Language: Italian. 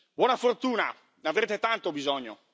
Buona fortuna, ne avrete tanto bisogno!